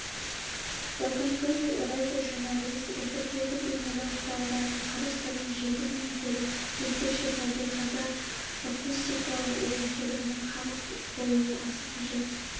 бүгінгі радиожурналист эфирдегі бейнелеу құралдарының қыр-сырын жетік меңгеріп өзгеше табиғаты акустикалық ерекшелігіне қанық болуы аса қажет